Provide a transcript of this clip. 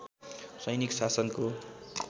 सैनिक शासनको